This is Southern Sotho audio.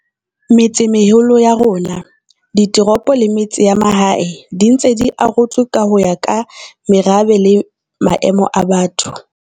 Metsemeholo ya rona, ditoropo le metse ya mahae di ntse di arotswe ho ya ka merabe le maemo a batho.